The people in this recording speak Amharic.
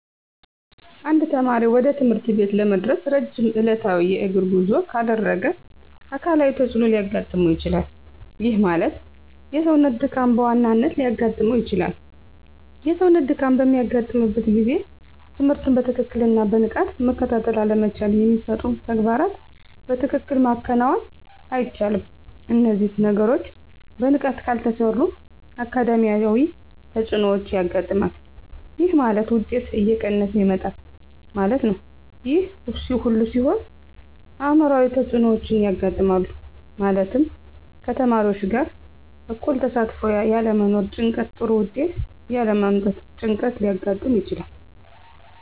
አንድ ተማሪ ወደ ትምህርት ቤት ለመድረስ ረጅም ዕለታዊ የእግር ጉዞ ካደረገ አካላዊ ተፅዕኖ ሊያጋጥመው ይችላል። ይህ ማለት የሰውነት ድካም በዋናነት ሊያጋጥም ይችላል። የሰውነት ድካም በሚያጋጥምበት ጊዜ ትምህርትን በትክክልና በንቃት መከታተል አለመቻል የሚሰጡ ተግባራትን በትክክል ማከናወን አይቻልም። እነዚህ ነገሮች በንቃት ካልተሰሩ አካዳሚያዊ ተፅዕኖዎች ያጋጥማል። ይህ ማለት ውጤት እየቀነሰ ይመጣል ማለት ነው። ይህ ሁሉ ሲሆን አዕምሯዊ ተፅዕኖዎች ያጋጥማሉ። ማለትም ከተማሪዎች ጋር እኩል ተሳትፎ ያለመኖር ጭንቀት ጥሩ ውጤት ያለ ማምጣት ጭንቀት ሊያጋጥም ይችላል።